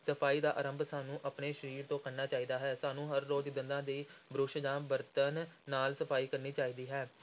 ਸਫ਼ਾਈ ਦਾ ਆਰੰਭ ਸਾਨੂੰ ਆਪਣੇ ਸਰੀਰ ਤੋਂ ਕਰਨਾ ਚਾਹੀਦਾ ਹੈ, ਸਾਨੂੰ ਹਰ ਰੋਜ਼ ਦੰਦਾਂ ਦੀ ਬੁਰਸ਼ ਜਾਂ ਬਰਤਣ ਨਾਲ ਸਫ਼ਾਈ ਕਰਨੀ ਚਾਹੀਦੀ ਹੈ।